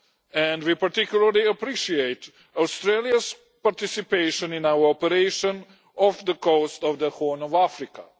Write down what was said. and we particularly appreciate Australia's participation in our operation off the coast of the Horn of Africa.